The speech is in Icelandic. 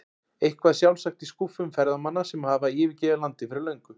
Eitthvað sjálfsagt í skúffum ferðamanna sem hafa yfirgefið landið fyrir löngu.